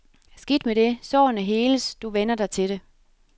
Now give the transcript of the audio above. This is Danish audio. Skidt med det, sårene heles, du vænner dig til det.